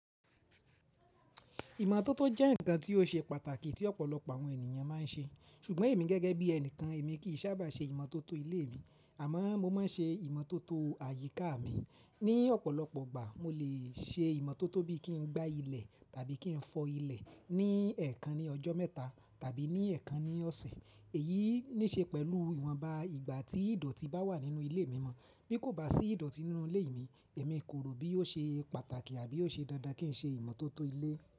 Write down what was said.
Ìmọ́tótó jẹ́ ǹnkan tí ó ṣe pàtàkì tí ọ̀pọ̀lọpọ̀ àwọn ènìyàn máa ń ṣe, ṣùgbọ́n èmi gẹ́gẹ́ bí ẹnìkan èmi kì í sábà ṣe ìmọ́tótó ilé mi, àmọ́ mo máa ń ṣe ìmọ́tótó àyíká mi. Ni ọ̀pọ̀lọpọ̀ ìgbà mo lè ṣe ìmọ́tótó bí i kí n gbá ilẹ̀ tàbí kí n fọ ilẹ̀ ní ẹ̀ẹ̀kan ní ọjọ́ mẹ́ta tàbí ní ẹ̀ẹ̀kan ní ọ̀sẹ̀. Èyí ní ṣe pẹ̀lú ìwọ̀nba ìgbà tí ìdọ̀tí bá wà nínú ilé mi mọ́. Bí kò bá sí ìdọ̀tí nínú ilé mi, èmi kò rò bí ó ṣe pàtàkì àbí ó ṣe dandan kí n ṣe ìmọ́tótó ilé.